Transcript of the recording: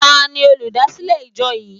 Tani olúdásílè ìjọ yìí?